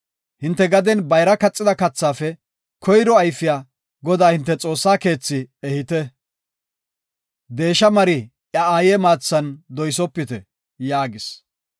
“Hinte gaden bayra kaxida kathaafe koyro ayfiya Godaa hinte Xoossaa keethi ehite. “Deesha mari iya aaye maathan doysopite” yaagis.